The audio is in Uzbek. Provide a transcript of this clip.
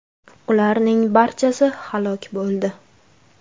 Ularning barchasi halok bo‘ldi .